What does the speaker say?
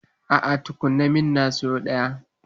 A'a, ka tuna min na siyo ɗaya.